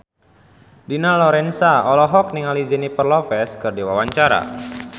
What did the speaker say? Dina Lorenza olohok ningali Jennifer Lopez keur diwawancara